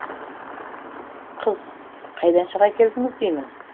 қыз қайдан шыға келдіңіз деймін